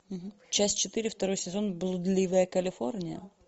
часть четыре второй сезон блудливая калифорния